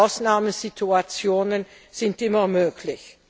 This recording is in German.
Ausnahmesituationen sind immer möglich.